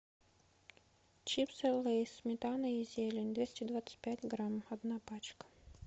чипсы лейс сметана и зелень двести двадцать пять грамм одна пачка